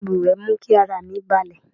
Tọ́ọ̀bù ìwẹ̀ mú kí ara mi balẹ̀.